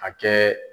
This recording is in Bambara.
A kɛ